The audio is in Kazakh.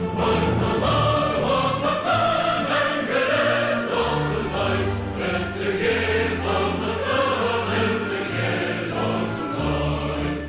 қарсы алған уақытты мәңгілік досындай біздің ел бақытты біздің ел осындай